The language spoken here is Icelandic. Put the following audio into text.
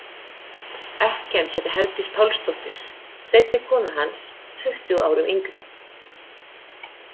Ekkjan hét Herdís Pálsdóttir, seinni kona hans, tuttugu árum yngri.